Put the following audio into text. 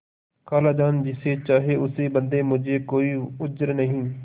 खालाजान जिसे चाहें उसे बदें मुझे कोई उज्र नहीं